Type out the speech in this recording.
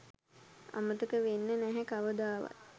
අමතක වෙන්නේ නැහැ කවදාවත්..